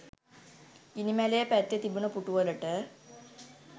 ගිනි මැලය පැත්තේ තිබුණ පුටුවලට